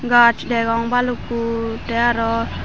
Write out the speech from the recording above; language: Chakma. gaas degong balukko te aro.